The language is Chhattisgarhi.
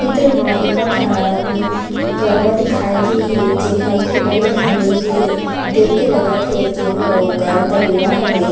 चित्र म ए एक ठन गरवा दिखाई गे हे जेहा ह खूटा ल बांधे गे हे देख के लगत हे की ओहा एकर तबेला हरे।